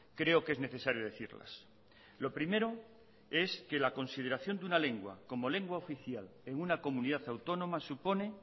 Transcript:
creo que es necesario decirlas lo primero es que la consideración de una lengua como lengua oficial en una comunidad autónoma supone